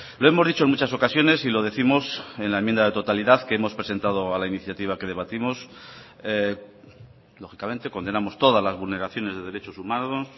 lo hemos dicho en muchas ocasiones y lo décimos en la enmienda a la totalidad que hemos presentado a la iniciativa que debatimos lógicamente condenamos todas las vulneraciones de derechos humanos